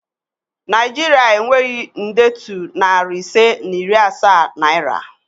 Naịjiria enweghị ndetu nari ise na iri asaa naira